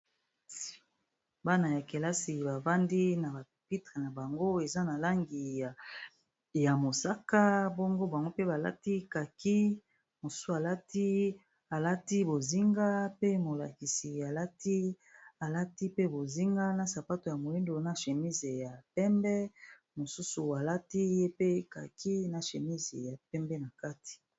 Bana ya kelasi babandi na bapitre na bango eza na langi ya mosaka bango bango mpe balati kaki mosu alati bozinga pe molakisi alati alati pe bozinga na sapato ya moindu na chémise ya pembe mosusu alati ye pe kaki na chémise ya pembe na kati